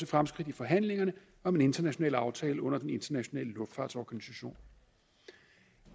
fremskridt i forhandlingerne om en international aftale under den internationale luftfartsorganisation